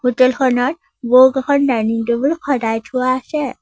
Hotel খনত বহুতকেইখন dining table সজাই থোৱা আছে।